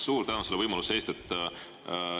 Suur tänu selle võimaluse eest!